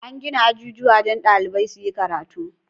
An gina ajujuwa don ɗalibai su yi karatu.